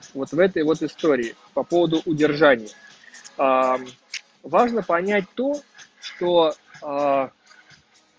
вот этой вот истории по поводу удержания важно понять то что